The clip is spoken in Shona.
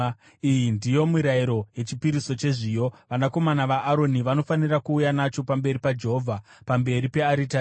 “ ‘Iyi ndiyo mirayiro yechipiriso chezviyo: Vanakomana vaAroni vanofanira kuuya nacho pamberi paJehovha, pamberi pearitari.